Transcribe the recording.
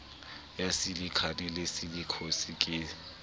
ya silikha le silikhosis ke